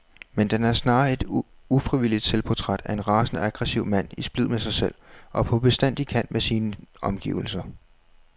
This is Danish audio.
Men den er snarere et ufrivilligt selvportræt af en rasende aggressiv mand i splid med sig selv og på bestandig kant med sine omgivelser.